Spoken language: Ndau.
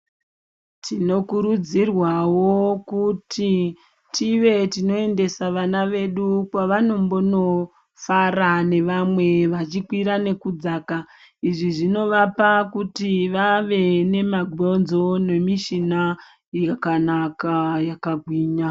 Tinokuudzirwavo kuti tive tinoendesa vana vedu kwavanombono fara nevamwe vachikwira nekudzaka. Izvi zvinovapa kuti vave nemabhonzo nemishina yakanaka yakagwinya.